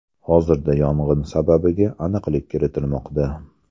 Hozirda yong‘in sababiga aniqlik kiritilmoqda.